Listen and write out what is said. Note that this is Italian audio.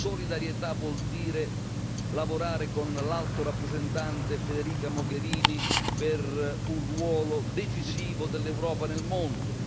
Solidarietà vuol dire lavorare con l'Alto rappresentante Federica Mogherini per un ruolo decisivo dell'Europa nel mondo.